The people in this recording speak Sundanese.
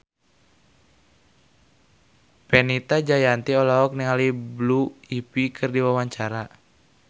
Fenita Jayanti olohok ningali Blue Ivy keur diwawancara